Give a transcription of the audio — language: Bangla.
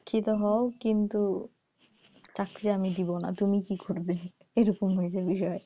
শিক্ষিত হয় কিন্তু চাকরি আমি দেবো না তুমি কি করবে এরকম হয়েছে বিষয়,